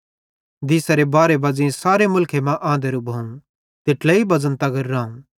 दीसारे बारहे बज़ेई सारे मुलखे मां आंधरू भोवं त ट्लेइ बज़न तगर रावं